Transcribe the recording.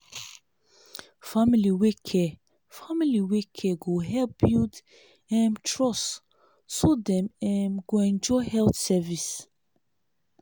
family wey care family wey care go help build um trust so dem um go enjoy health service.